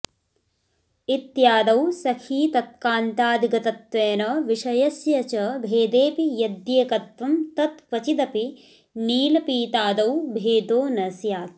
इत्यादौ सखीतत्कान्तादिगतत्वेन विषयस्य च भेदेऽपि यद्येकत्वम् तत् क्वचिदपि नीलपीतादौ भेदो न स्यात्